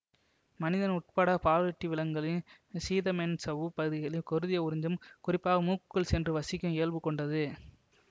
மனிதன் உட்பட பாலூட்டி விலங்குகளின் சீதமென்சவ்வுப் பகுதிகளில் குருதியை உறிஞ்சும் குறிப்பாக மூக்குக்குள் சென்று வசிக்கும் இயல்பு கொண்டது